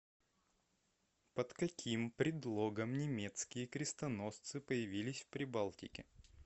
под каким предлогом немецкие крестоносцы появились в прибалтике